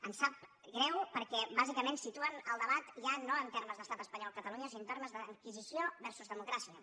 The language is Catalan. em sap greu perquè bàsicament situen el debat ja no en termes d’estat espanyol catalunya sinó en termes d’inquisició versus democràcia